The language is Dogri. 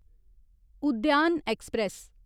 उद्यान ऐक्सप्रैस